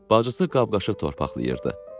Bacısı qab-qaşıq torpaqlayırdı.